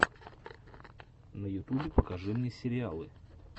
на ютубе покажи мне сериалы